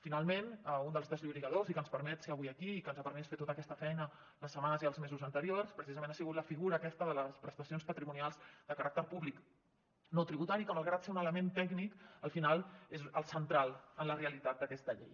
finalment un dels desllorigadors que ens permet ser avui aquí i que ens ha permès fer tota aquesta feina les setmanes i els mesos anteriors precisament ha sigut la figura aquesta de les prestacions patrimonials de caràcter públic no tributari que malgrat ser un element tècnic al final és el central en la realitat d’aquesta llei